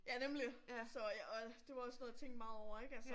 Ja nemlig, så og det var også noget jeg tænkte meget over ik altså